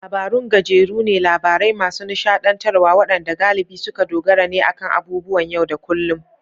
Labarun gajeru ne, labarai masu nishadantarwa wadanda galibi suka dogara ne akan abubuwan yau da kullun.